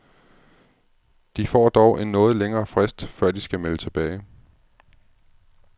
De får dog en noget længere frist, før de skal melde tilbage.